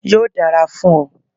Yóò dára fún ọ.